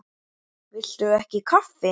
Viltu ekki kaffi?